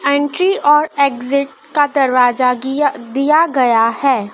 Entry और exit का दरवाजा गिया दिया गया है।